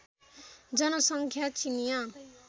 जनसङ्ख्या चिनियाँ